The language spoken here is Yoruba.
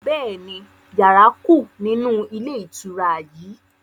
Bẹ́ẹ̀ni, yàrá kú nínú ilé ìtura yìí